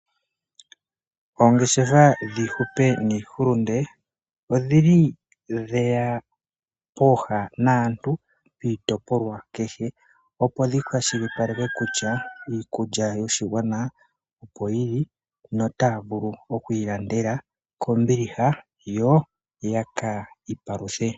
Ongeshefa dhihupe nihulunde odhili dheya pooha naantu piitopolwa keshe opo dhi kwashilipaleka kutya iikulya yoshigwana opo yili no ta vulu okwi landela kombiliha yo ya ki paluthe.